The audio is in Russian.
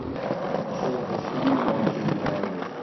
джой за что мне наложили арест